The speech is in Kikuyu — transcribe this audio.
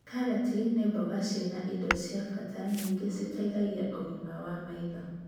Karati nĩ mboga ciĩna indo cia bata nyingĩ citeithagia ũgima wa maitho